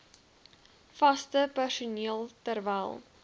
vaste personeel terwyl